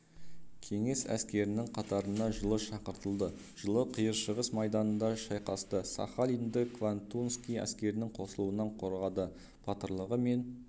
кеңес әскерінің қатарына жылы шақыртылды жылы қиыршығыс майданында шайқасты сахалинді квантунский әскерінің қосылуынан қорғады батырлығы мен